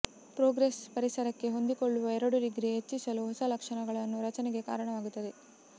progress ಪರಿಸರಕ್ಕೆ ಹೊಂದಿಕೊಳ್ಳುವ ಎರಡು ಡಿಗ್ರಿ ಹೆಚ್ಚಿಸಲು ಹೊಸ ಲಕ್ಷಣಗಳನ್ನು ರಚನೆಗೆ ಕಾರಣವಾಗುತ್ತದೆ